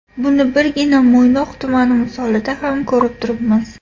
Buni birgina Mo‘ynoq tumani misolida ham ko‘rib turibmiz.